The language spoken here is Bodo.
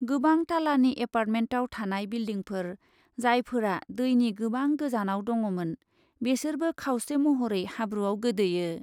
गोबां टालानि एपार्टमेन्टयाव थानाय बिल्डिंफोर , जायफोरा दैनि गोबां गोजानाव दङ'मोन , बेसोरबो खावसे महरै हाब्रुयाव गोदोयो ।